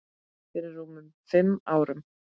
Fyrir rúmum fimm árum.